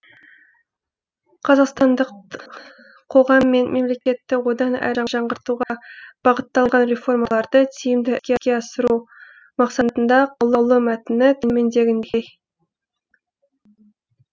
қазақстандық қоғам мен мемлекетті одан әрі жаңғыртуға бағытталған реформаларды тиімді іске асыру мақсатында қаулы мәтіні төмендегідей